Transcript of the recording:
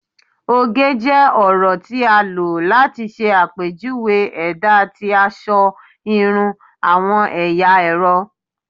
oge jẹ ọrọ ti a lo lati ṣe apejuwe ẹda ti aṣọ, irun, awọn ẹya ẹrọ